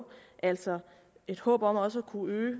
altså et håb om også at kunne øge